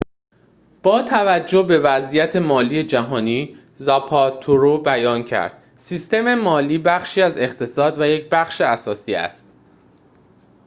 با توجه به وضعیت مالی جهانی زاپاترو بیان کرد سیستم مالی بخشی از اقتصاد و یک بخش اساسی است